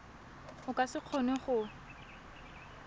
o ka se kgone go